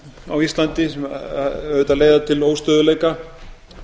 á íslandi sem auðvitað leiða til óstöðugleika